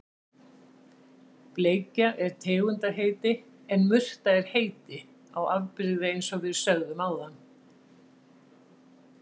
Bleikja er tegundarheiti en murta er heiti á afbrigði eins og við sögðum áðan.